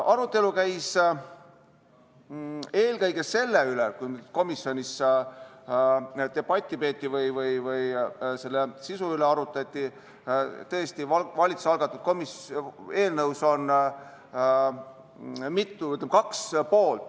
Arutelu, kui komisjonis debatti peeti või eelnõu sisu üle arutati, käis eelkõige selle üle, et tõesti, valitsuse algatatud eelnõul on kaks poolt.